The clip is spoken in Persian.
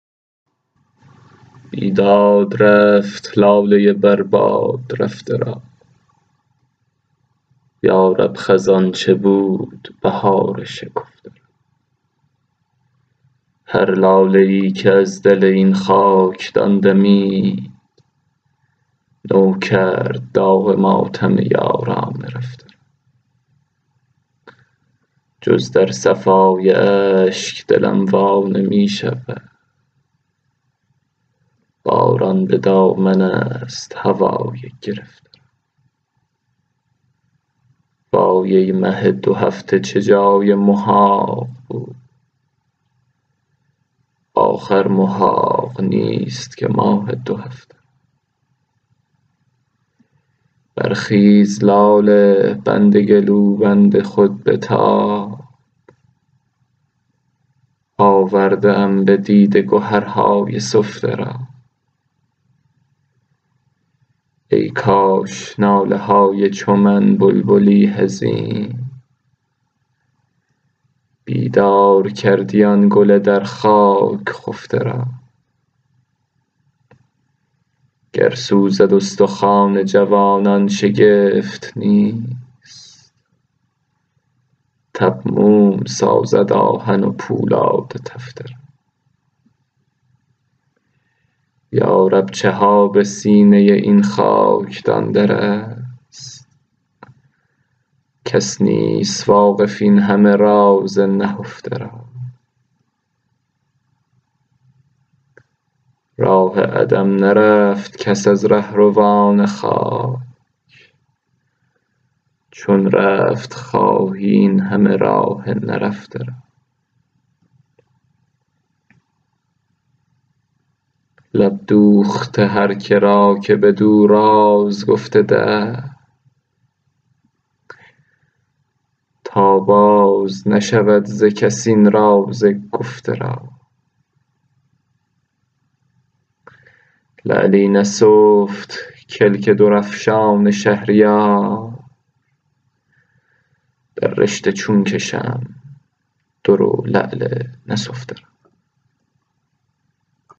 بیداد رفت لاله بر باد رفته را یا رب خزان چه بود بهار شکفته را هر لاله ای که از دل این خاکدان دمید نو کرد داغ ماتم یاران رفته را جز در صفای اشک دلم وا نمی شود باران به دامن است هوای گرفته را وای ای مه دو هفته چه جای محاق بود آخر محاق نیست که ماه دو هفته را برخیز لاله بند گلوبند خود بتاب آورده ام به دیده گهرهای سفته را ای کاش ناله های چو من بلبلی حزین بیدار کردی آن گل در خاک خفته را گر سوزد استخوان جوانان شگفت نیست تب موم سازد آهن و پولاد تفته را گردون برات خوشدلی کس نخوانده است اینجا همیشه رد و نکول است سفته را این گوژپشت تیرقدان راست تر زند چندین کمین نکرده کمان های چفته را یارب چه ها به سینه این خاکدان در است کس نیست واقف این همه راز نهفته را راه عدم نرفت کس از رهروان خاک چون رفت خواهی اینهمه راه نرفته را لب دوخت هر کرا که بدو راز گفت دهر تا باز نشنود ز کس این راز گفته را لعلی نسفت کلک در افشان شهریار در رشته چون کشم در و لعل نسفته را